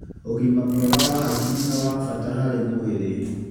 ũgima mwega wa hakiri nĩ wa bata harĩ mwĩrĩ.